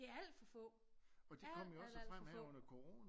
De er alt for få al al alt for få